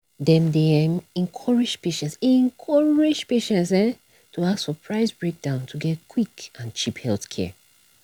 dem dey encourage residents to know say out-of-pocket costs fit dey different to get quick and cheap healthcare.